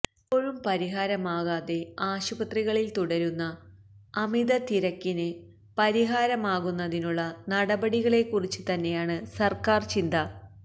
ഇപ്പോഴും പരിഹാരമാകാതെ ആശുപത്രികളില് തുടരുന്ന അമിത തിരക്കിന് പരിഹാരമാകുന്നതിനുള്ള നടപടികളെക്കുറിച്ച് തന്നെയാണ് സര്ക്കാര് ചിന്ത